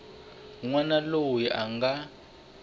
n wana loyi a nga